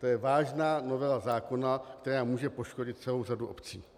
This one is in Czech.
To je vážná novela zákona, která může poškodit celou řadu obcí.